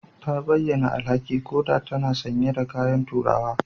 Ta bayyana alhaki koda tana sanye da kayan turawa